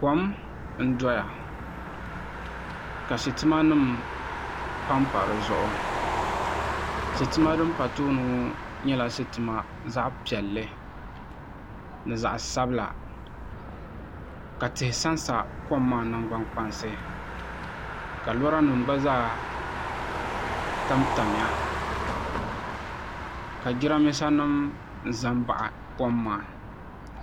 Kom n doya ka sitima nim panpa di zuɣu sitima din pa tooni ŋo nyɛla sitima zaɣ piɛlli ni zaɣ sabila ka tihi sansa kom maa nangbani kpaŋa ka lora nim gba zaa tamtamya ka jiranbiisa nim ʒɛ n baɣi kom maa